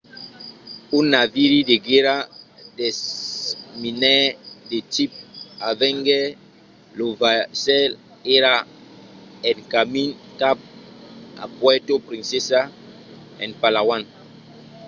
un naviri de guèrra desminaire de tipe avenger lo vaissèl èra en camin cap a puerto princesa en palawan